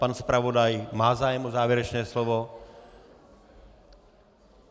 Pan zpravodaj má zájem o závěrečné slovo?